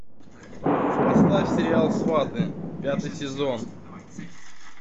поставь сериал сваты пятый сезон